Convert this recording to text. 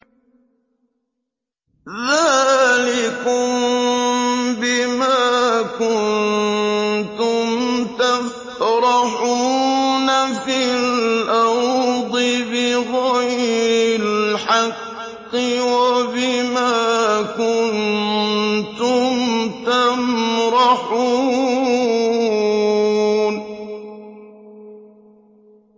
ذَٰلِكُم بِمَا كُنتُمْ تَفْرَحُونَ فِي الْأَرْضِ بِغَيْرِ الْحَقِّ وَبِمَا كُنتُمْ تَمْرَحُونَ